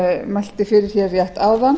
mælti fyrir rétt áðan